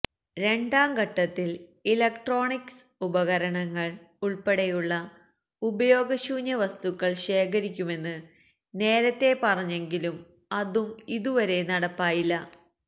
രണ്ടാം ഘട്ടത്തില് ഇലക്ട്രോണിക്സ് ഉപകരണങ്ങള് ഉള്പ്പെടെയുള്ള ഉപയോഗശൂന്യ വസ്തുക്കള് ശേഖരിക്കുമെന്ന് നേരത്തെ പറഞ്ഞെങ്കിലും അതും ഇതുവരെ നടപ്പായില്ല